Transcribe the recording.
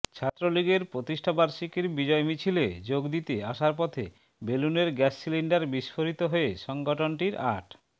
ছাত্রলীগের প্রতিষ্ঠাবার্ষিকীর বিজয় মিছিলে যোগ দিতে আসার পথে বেলুনের গ্যাস সিলিন্ডার বিস্ফোরিত হয়ে সংগঠনটির আট